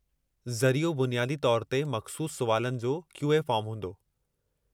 ज़रियो, बुनियादी तौरु ते मख़्सूसु सुवालातनि जो क्यू.ए. फ़ार्म हूंदो।